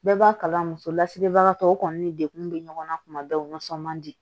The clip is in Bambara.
Bɛɛ b'a kalan muso lasigibagatɔw kɔni ni degun bɛ ɲɔgɔn na kuma bɛɛ u nisɔn man di